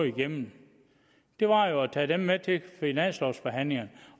igennem jo at tage dem med til finanslovsforhandlingerne